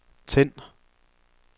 tænd